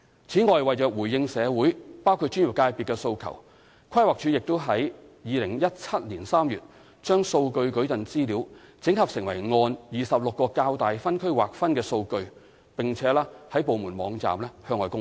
此外，為回應社會包括專業界別的訴求，規劃署已於2017年3月把數據矩陣資料整合成按26個較大分區劃分的數據，並在部門網站向外公開。